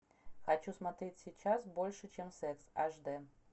хочу смотреть сейчас больше чем секс аш дэ